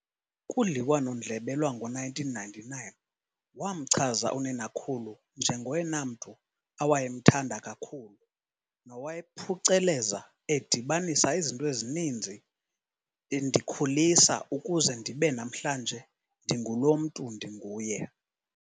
Kudliwano-ndlebe lwango1999, wamchaza uninakhulu nje"ngoyena mntu awayemthanda kakhulu" nowaye "nowayephuceleza edibanisa izinto ezininzi endikhulisa ukuze ndibe namhlanje ndingulo mntu ndinguye."